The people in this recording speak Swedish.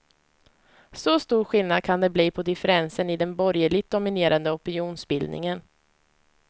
Så stor skillnad kan det bli på differensen i den borgerligt dominerade opinionsbildningen.